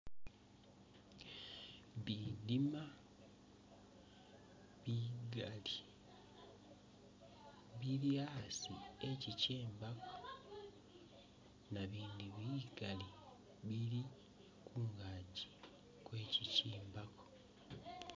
Bidima bigali bili asi ekyikyembako nabindi bigali bili kungaji kwekyi kyembako.